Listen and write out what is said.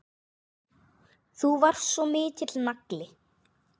Þú varst svo mikill nagli.